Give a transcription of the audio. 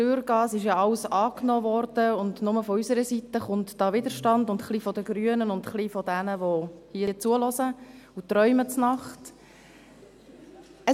Es wurde ja alles angenommen, und nur von unserer Seite kommt Widerstand, noch ein bisschen von den Grünen und noch ein bisschen von jenen, die hier zuhören und in der Nacht träumen.